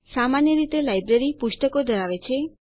સામાન્ય રીતે લાઈબ્રેરી પુસ્તકો ધરાવે છે